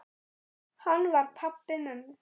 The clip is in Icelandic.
Hann var pabbi mömmu.